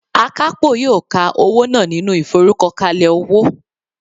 Akapo yoo ka owo naa ninu iforukokale owo